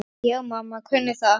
Já, mamma kunni það.